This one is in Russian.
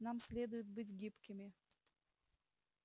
нам следует быть гибкими